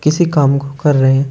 किसी काम को कर रहे हैं।